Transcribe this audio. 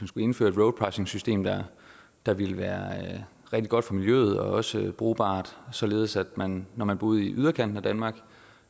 skulle indføre et roadpricingsystem der der ville være rigtig godt for miljøet og også brugbart således at man når man boede i yderkanten af danmark